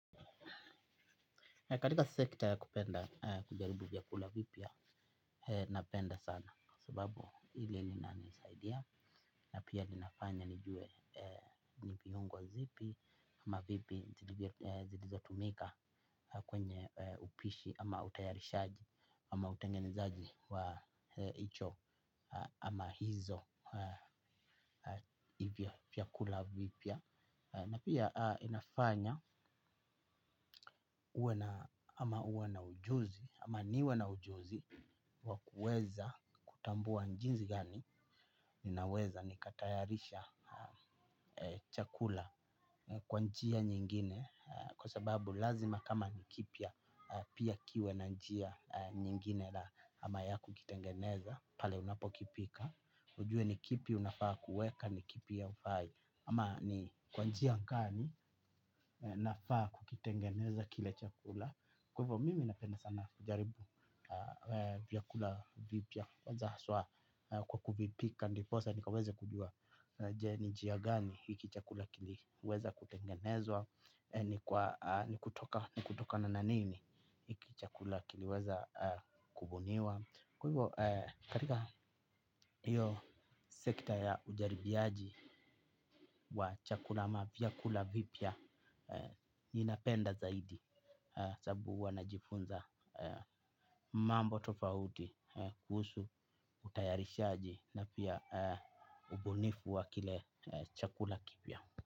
Katika sekta ya kupenda kujaribu vyakula vipya napenda sana. Sababu hili lina nisaidia na pia linafanya nijue ni viungo zipi. Ama vipi zilizo tumika kwenye upishi ama utayarishaji ama utengenzaji wa hicho ama hizo vya vyakula vipya. Na pia inafanya uwe na ujuzi, ama niwe na ujuzi wabkuweza kutambua jinsi gani, ninaweza nikatayarisha chakula kwa njia nyingine. Kwa sababu lazima kama ni kipya pia kiwe na njia nyingine la ama ya kukitengeneza pale unapokipika ujue ni kipi unafaa kuweka ama ni kipi haufai ama ni kwa njia gani nafaa kukitengeneza kile chakula kwa hivyo mimi napenda sana kujaribu vyakula vipya kwanza haswa. Kwa kuvipika ndiposa nikaweze kujua ni njia gani hiki chakula kiliweza kutengenezwa. Ni kutokana na nini hiki chakula kiliweza kubuniwa. Kwa hivyo katika hiyo sekta ya ujaribiaji wa vyakula vipya ninapenda zaidi sababu huwa najifunza mambo tofauti kuhusu utayarishaji na pia ubunifu wa kile chakula kipya.